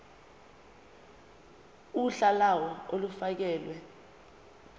uhla lawo olufakelwe